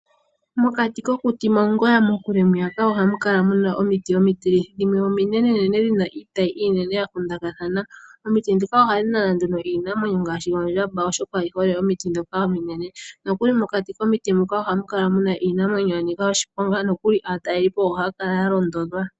Mokati kokuti mongoya mokule ohamu kala mu n aomiti omitilithi. Dhimwe ominenene dhina iitayi iinene ya kupikathana. Omiti ndhika ohadhi nana nduno iinamwenyo ngaashi oondjamba, oshoka oyi hole omiti ndhoka ominene. Mokati komiti muka ohamu kala muna iinamwenyo yanika oshiponga. Aatalelipo ohaya kala ya londodhwa.